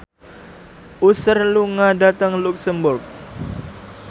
Usher lunga dhateng luxemburg